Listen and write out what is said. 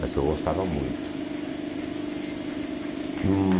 Mas eu gostava muito. Hum